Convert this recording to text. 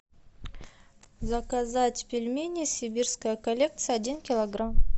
заказать пельмени сибирская коллекция один килограмм